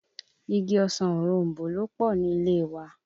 Igi ọsàn òroǹbó ló pọ̀ ní ilé e wa